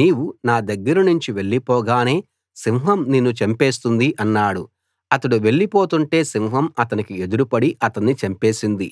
నీవు నా దగ్గరనుంచి వెళ్లిపోగానే సింహం నిన్ను చంపేస్తుంది అన్నాడు అతడు వెళ్లిపోతుంటే సింహం అతనికి ఎదురుపడి అతన్ని చంపేసింది